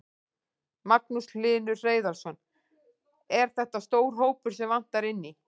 Magnús Hlynur Hreiðarsson: Er þetta stór hópur sem vantar inn í?